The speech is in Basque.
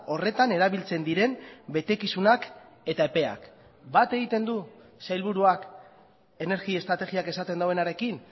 horretan erabiltzen diren betekizunak eta epeak bat egiten du sailburuak energia estrategiak esaten duenarekin